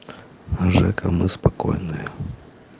жека мы спокойные